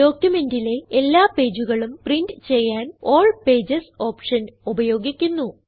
ഡോക്യുമെന്റിലെ എല്ലാ പേജുകളും പ്രിന്റ് ചെയ്യാൻ ആൽ പേജസ് ഓപ്ഷൻ ഉപയോഗിക്കുന്നു